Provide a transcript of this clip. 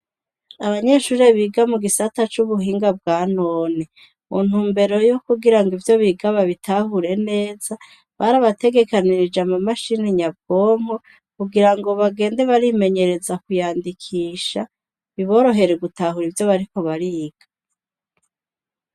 Abanyeshure biga mu gisata c'ubuhinga bwa none muntumbero yo kugira ngo ivyo bigaba bitahure neza barabategekanirije mu mashini nyabwonko kugira ngo bagende barimenyereza kuyandikisha biborohere gutahura ivyo bariko bariga.